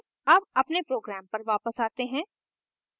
अब अपने program पर वापस आते हैं